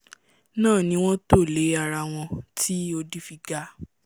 náà ni wọ́n tò lé arawọn tí odi fi ga